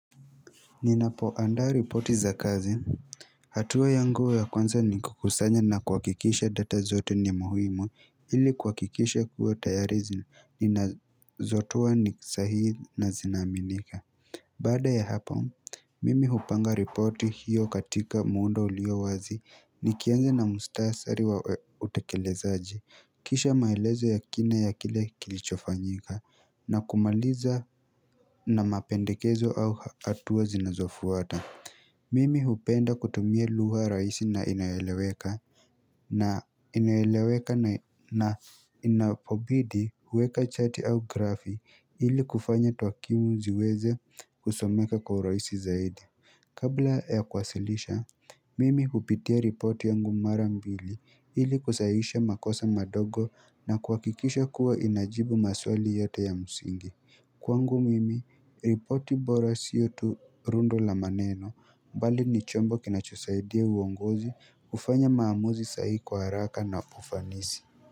Ninapoandaa ripoti za kazi hatua yangu ya kwanza ni kukusanya na kuhakikisha data zote ni muhimu ili kuhakikisha kuwa tayari ninazotoa ni sahii na zinaaminika Baada ya hapo, mimi hupanga ripoti hiyo katika muundo ulio wazi nikianza na muhtasari wa utekelezaji kisha maelezo ya kina ya kile kilichofanyika na kumaliza na mapendekezo au hatua zinazofuata Mimi hupenda kutumia lugha rahisi na inayoeleweka na inaeleweka na inapobidi huweka chati au grafi ili kufanya takwimu ziweze kusomeka kwa urahisi zaidi. Kabla ya kuwasilisha, mimi hupitia ripoti yangu mara mbili ili kusahisha makosa madogo na kuhakikisha kuwa inajibu maswali yote ya msingi. Kwangu mimi ripoti bora siyo tu rundo la maneno bali ni chombo kinachosaidia uongozi kufanya maamuzi sahihi kwa haraka na ufanisi.